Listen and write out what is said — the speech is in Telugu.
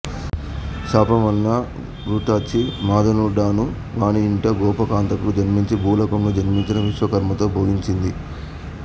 శాపం వలన ఘృతాచి మదనుడనువానిఇంట గోపకాంతకు జన్మించి భూలోకంలో జన్మించిన విశ్వకర్మతో భోగించింది